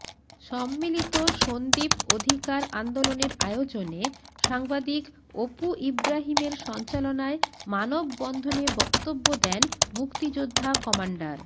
সম্মিলিত সন্দ্বীপ অধিকার আন্দোলনের আয়োজনে সাংবাদিক অপু ইব্রাহিমের সঞ্চালনায় মানববন্ধনে বক্তব্য দেন মুক্তিযোদ্ধা কমান্ডার